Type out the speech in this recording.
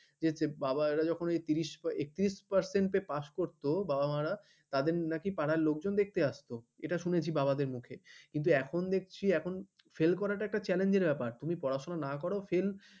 বলছে বাবারা ত্রিরস এক্ত্রিরস শতাংশে পাস করতো বাবা মারা তাদের নাকি পারার লোকজন দেখতে আসতো এটা শুনেছি বাবাদের মুখে কিন্তু এখন দেখছি ফেল এখন করাটা একটা challenge ব্যাপার তুই পড়াশোনা না কর fail